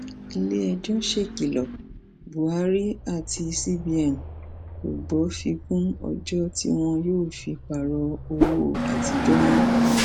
iléẹjọ ṣèkìlọ buhari àti cbn kò gbọ fi kún ọjọ tí wọn yóò fi pààrọ owó àtijọ mọ